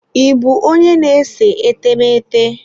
Ị bụ onye na-ese etemeete?